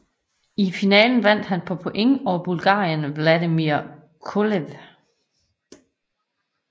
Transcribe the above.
I finalen vandt han på point over bulgareren Vladimir Kolev